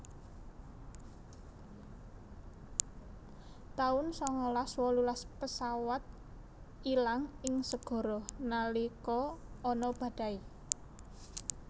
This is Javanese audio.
taun sangalas wolulas pesawat ilang ing segara nalika ana badai